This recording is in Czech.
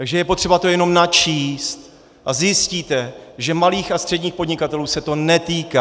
Takže je potřeba to jenom načíst a zjistíte, že malých a středních podnikatelů se to netýká.